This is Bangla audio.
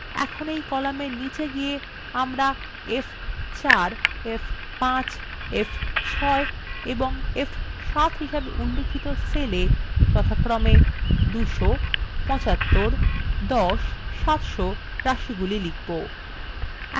এখন এই কলামের নিচে গিয়ে আমরা f4 f5 f6 এবং f7হিসাবে উল্লিখিত cellswe যথাক্রমে 200 75 10 এবং 700 রাশি লিখব